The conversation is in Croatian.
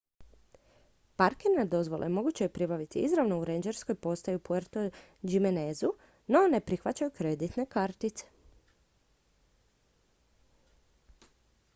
parkirne dozvole moguće je pribaviti izravno u rendžerskoj postaji u puerto jiménezu no ne prihvaćaju kreditne kartice